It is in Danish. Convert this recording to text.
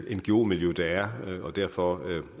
ngo miljø der er og derfor